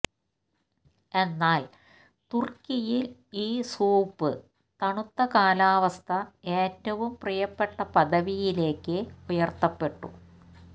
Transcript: എന്നാൽ തുർക്കിയിൽ ഈ സൂപ്പ് തണുത്ത കാലാവസ്ഥ ഏറ്റവും പ്രിയപ്പെട്ട പദവിയിലേക്ക് ഉയർത്തപ്പെട്ടു